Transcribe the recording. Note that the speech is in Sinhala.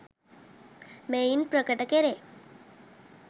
මෙයින් ප්‍රකට කෙරේ.